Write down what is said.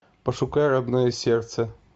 пошукай родное сердце